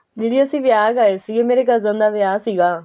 ਦੀਦੀ ਅਸੀਂ ਵਿਆਹ ਗਏ ਸੀ ਮੇਰੇ cousin ਦਾ ਵਿਆਹ ਸੀਗਾ